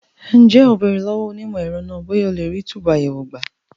Ǹjẹ́ o béèrè lọ́wọ́ onímọ̀ ẹ̀rọ náà bóyá a lè rí túbùù àyẹ̀wò gbà?